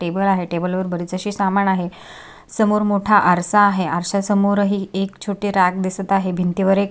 table आहे table वर बरेच अशे सामान आहे समोर मोठा आरसा आहे आरसा समोर ही एक छोटी रॅक दिसत आहे भिंती वर एक--